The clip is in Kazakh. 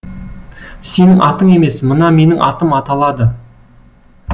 сенің атың емес мына менің атым аталады